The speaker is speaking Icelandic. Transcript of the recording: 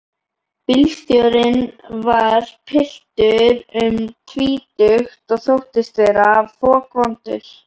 Bílstjórinn var piltur um tvítugt og þóttist vera fokvondur.